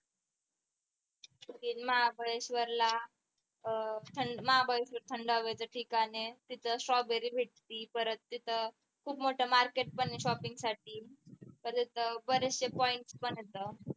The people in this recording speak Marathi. महाबळेश्वरला अह महाबळेश्वर हे थंड हवेच ठिकाण आहे तिथं strawberry भेटती परत तिथं खूप मोठं market पण आहे shopping साठी परत बरेचशे point पण आहेत